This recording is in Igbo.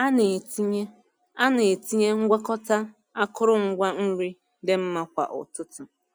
A na-etinye A na-etinye ngwakọta akụrụngwa nri dị mmma kwa ụtụtụ.